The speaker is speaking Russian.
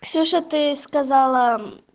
ксюша ты сказала